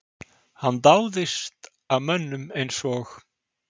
Hann dáðist að mönnum eins og